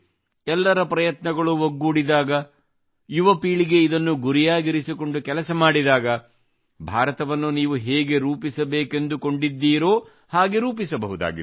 ಎಲ್ಲರ ಪ್ರಯತ್ನಗಳು ಒಗ್ಗೂಡಿದಾಗ ಯುವ ಪೀಳಿಗೆ ಇದನ್ನು ಗುರಿಯಾಗಿರಿಸಿಕೊಂಡು ಕೆಲಸ ಮಾಡಿದಾಗ ಭಾರತವನ್ನು ನೀವು ಹೇಗೆ ರೂಪಿಸಬೇಕೆಂದು ಕೊಂಡಿದ್ದೀರೊ ಹಾಗೆ ರೂಪಿಸಬಹುದಾಗಿದೆ